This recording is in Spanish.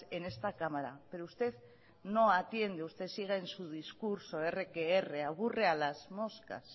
en esta cámara pero usted no atiende usted sigue en su discurso erre que erre aburre a las moscas